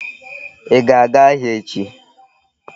Ị ga-aga ahịa echi?